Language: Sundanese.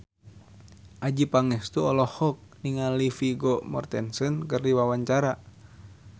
Adjie Pangestu olohok ningali Vigo Mortensen keur diwawancara